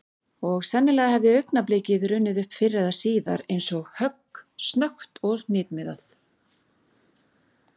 Og sennilega hefði augnablikið runnið upp fyrr eða síðar eins og högg, snöggt og hnitmiðað.